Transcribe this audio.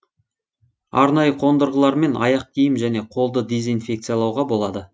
арнайы қондырғылармен аяқ киім және қолды дезинфекциялауға болады